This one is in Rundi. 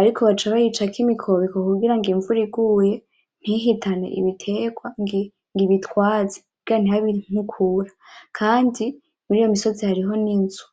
ariko baca bayicako imikobeko kugira imvura iguye ntihitane Ibiterwa ngo ibitware ntihabe inkukura Kandi muriyo misozi hariho n'inzu.